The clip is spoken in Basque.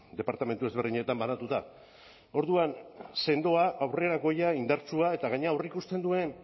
departamentu ezberdinetan banatuta orduan sendoa aurrerakoia indartsua eta gainera aurreikusten duen